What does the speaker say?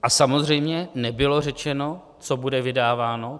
A samozřejmě nebylo řečeno, co bude vydáváno.